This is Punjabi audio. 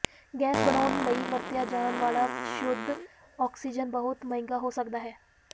ਗੈਸ ਬਣਾਉਣ ਲਈ ਵਰਤਿਆ ਜਾਣ ਵਾਲਾ ਸ਼ੁੱਧ ਆਕਸੀਜਨ ਬਹੁਤ ਮਹਿੰਗਾ ਹੋ ਸਕਦਾ ਹੈ